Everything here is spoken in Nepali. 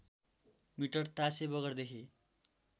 मिटर तासे बगरदेखि